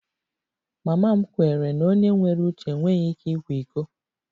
Mama m kweere na onye nwere uche enweghị ike ịkwa iko